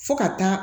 Fo ka taa